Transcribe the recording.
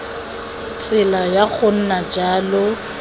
tsela ya go nna jalo